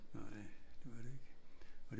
Nej det var det ikke